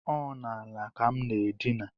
Ọ n’ala ka m na-edina